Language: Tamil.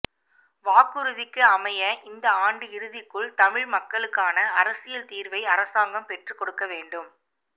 வாக்குறுதிக்கு அமைய இந்த ஆண்டு இறுதிக்குள் தமிழ் மக்களுக்கான அரசியல் தீர்வை அரசாங்கம் பெற்றுக்கொடுக்க வேண்டும்